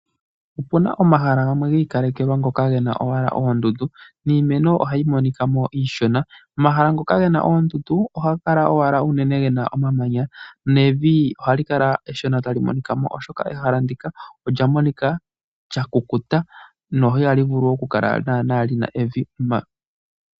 Opu na omahala gamwe gi ikalekelwa ge na owala oondundu niimeno ohayi monika mo iishona. Omahala ngoka ge na oondundu ohaga kala owala unene ge na omamanya nevi ohali kala eshona tali monika mo, oshoka ehala ndika olya monika lya kukuta no ihali vulu naanaa okukala li na evi.